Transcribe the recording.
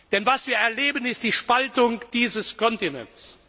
Denn was wir erleben, ist die Spaltung dieses Kontinents.